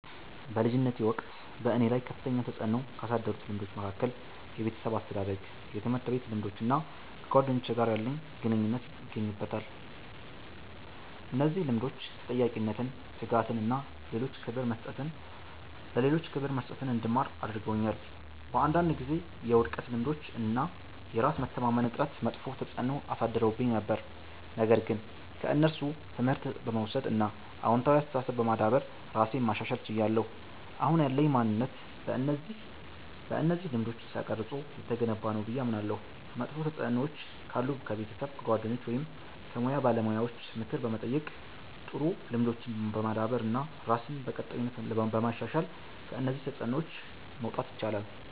በልጅነቴ ወቅት በእኔ ላይ ከፍተኛ ተጽዕኖ ካሳደሩት ልምዶች መካከል የቤተሰብ አስተዳደግ፣ የትምህርት ቤት ልምዶች እና ከጓደኞቼ ጋር ያለኝ ግንኙነት ይገኙበታል። እነዚህ ልምዶች ተጠያቂነትን፣ ትጋትን እና ለሌሎች ክብር መስጠትን እንድማር አድርገውኛል። በአንዳንድ ጊዜ የውድቀት ልምዶች እና የራስ መተማመን እጥረት መጥፎ ተጽዕኖ አሳድረውብኝ ነበር፣ ነገር ግን ከእነሱ ትምህርት በመውሰድ እና አዎንታዊ አስተሳሰብ በማዳበር ራሴን ማሻሻል ችያለሁ። አሁን ያለኝ ማንነት በእነዚህ ልምዶች ተቀርጾ የተገነባ ነው ብዬ አምናለሁ። መጥፎ ተጽዕኖዎች ካሉ ከቤተሰብ፣ ከጓደኞች ወይም ከሙያ ባለሙያዎች ምክር በመጠየቅ፣ ጥሩ ልምዶችን በማዳበር እና ራስን በቀጣይነት በማሻሻል ከእነዚህ ተጽዕኖዎች መውጣት ይቻላል።